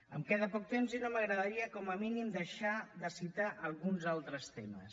em queda poc temps i no m’agradaria com a mínim deixar de citar alguns altres temes